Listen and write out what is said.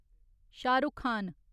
Shah Rukh Khan